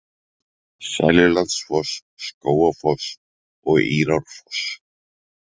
Seljalandsfoss, Skógafoss og Írárfoss.